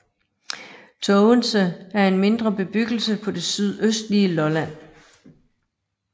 Tågense er en mindre bebyggelse på det sydøstlige Lolland